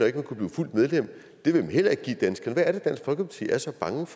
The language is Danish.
ikke kunne blive fuldt medlem det vil man heller ikke give danskerne hvad er det dansk folkeparti er så bange